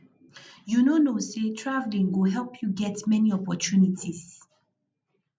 you no know say traveling go help you get many opportunities